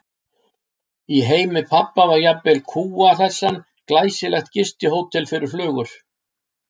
Í heimi pabba var jafnvel kúa- hlessan glæsilegt gistihótel fyrir flugur.